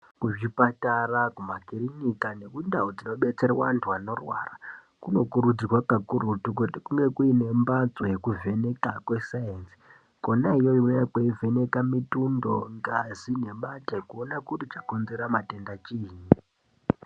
Kuzvipatara kumakirinika nemundauu dzinobetserwe anhu anorwara kunokurudzirwa kakurutu kuti kunenge kune mbatso yekuvheneka kwesayenzi kona iyoyo kunovheneka mitundo ,ngazi nemate kuona kuti chakonzera matenda chiinyi.